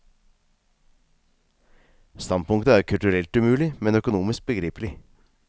Standpunktet er kulturelt umulig, men økonomisk begripelig.